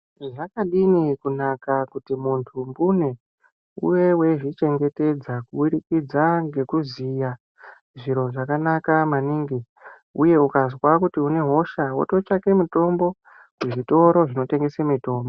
Zvakadini kunaka mbune kuti muntu iwewe uzvichengetedze kuburikidza ngekuziya zviro zvakanaka maningi uye ukazwa kuti une hosha, wototsvaga mutombo. muzvitoro zvinotengesa mitombo.